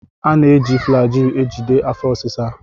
A na-eji Flagyl ejide afọ ọsisa.